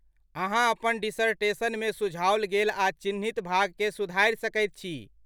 अहाँ अपन डिसर्टेशनमे सुझाओल गेल आ चिह्नित भाग केँ सुधारि सकैत छी।